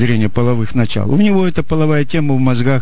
деление половых начал у него это половая тема в мозгах